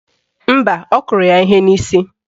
Mba, ọ kụrụ ya ihe n'isi